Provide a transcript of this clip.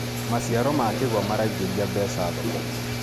maciaro ma kĩgwa maraignĩria mbeca thoko-inĩ